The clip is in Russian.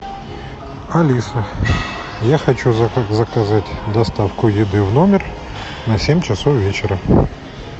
алиса я хочу заказать доставку еды в номер на семь часов вечера